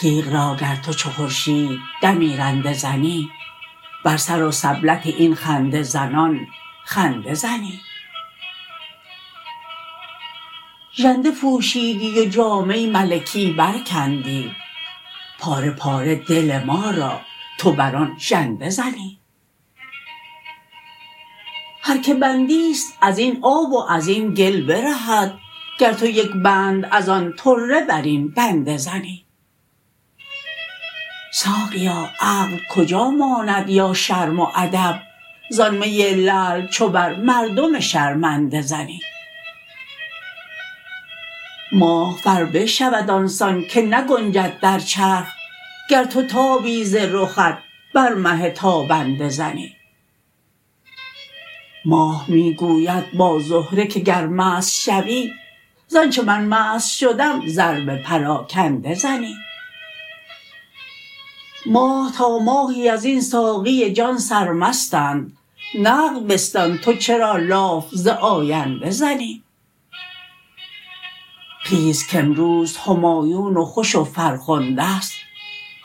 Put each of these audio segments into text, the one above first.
تیغ را گر تو چو خورشید دمی رنده زنی بر سر و سبلت این خنده زنان خنده زنی ژنده پوشیدی و جامه ملکی برکندی پاره پاره دل ما را تو بر آن ژنده زنی هر کی بندی است از این آب و از این گل برهد گر تو یک بند از آن طره بر این بنده زنی ساقیا عقل کجا ماند یا شرم و ادب زان می لعل چو بر مردم شرمنده زنی ماه فربه شود آن سان که نگنجد در چرخ گر تو تابی ز رخت بر مه تابنده زنی ماه می گوید با زهره که گر مست شوی ز آنچ من مست شدم ضرب پراکنده زنی ماه تا ماهی از این ساقی جان سرمستند نقد بستان تو چرا لاف ز آینده زنی خیز کامروز همایون و خوش و فرخنده ست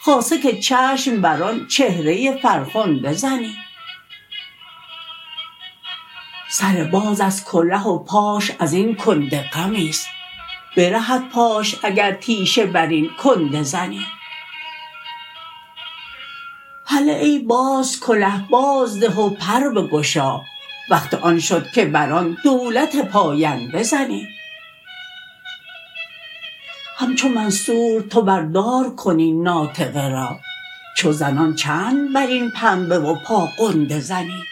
خاصه که چشم بر آن چهره فرخنده زنی سر باز از کله و پاش از این کنده غمی است برهد پاش اگر تیشه بر این کنده زنی هله ای باز کله بازده و پر بگشا وقت آن شد که بر آن دولت پاینده زنی همچو منصور تو بر دار کن این ناطقه را چو زنان چند بر این پنبه و پاغنده زنی